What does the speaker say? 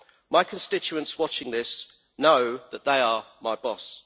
My constituents watching this know that they are my boss.